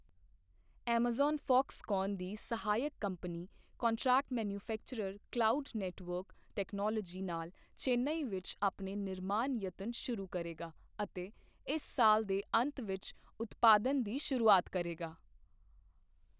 Amazon Foxconn ਦੀ ਸਹਾਇਕ company contract manufacturer Cloud Network Technology ਨਾਲ ਚੇਨਈ ਵਿੱਚ ਆਪਣੇ ਨਿਰਮਾਣ ਯਤਨ ਸ਼ੁਰੂ ਕਰੇਗਾ ਅਤੇ ਇਸ ਸਾਲ ਦੇ ਅੰਤ ਵਿੱਚ ਉਤਪਾਦਨ ਦੀ ਸ਼ੁਰੂਆਤ ਕਰੇਗਾ।